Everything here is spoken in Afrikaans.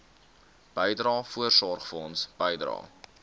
bydrae voorsorgfonds bydrae